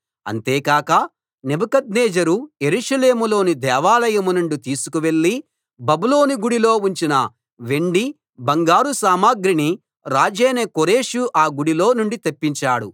అంతే కాక నెబుకద్నెజరు యెరూషలేములోని దేవాలయం నుండి తీసుకువెళ్ళి బబులోను గుడిలో ఉంచిన వెండి బంగారు సామగ్రిని రాజైన కోరెషు ఆ గుడిలో నుండి తెప్పించాడు